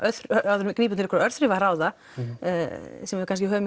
áður en við grípum til einhverra örþrifaráða sem við kannski höfum